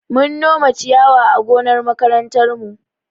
Mun nome ciyawa a gonar makarantarmu.